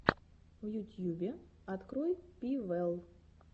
в ютьюбе открой пи вэлл